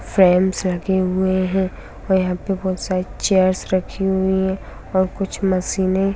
Fans लगे हुए हैं और यहां पे बहुत सारे चेयर्स रखी हुई हैं और कुछ मशीने ।